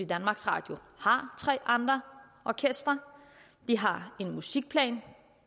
danmarks radio har tre andre orkestre og de har en musikplan